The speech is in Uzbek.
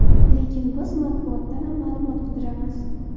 Lekin biz matbuotdanam ma’lumot qidiramiz.